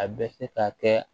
A bɛ se ka kɛ